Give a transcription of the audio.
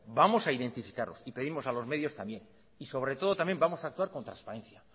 vamos a identificarlos y pedimos a los medios también y sobre todo también vamos a actuar con transparencia